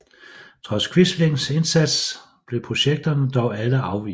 Trods Quislings indsats blev projekterne dog alle afvist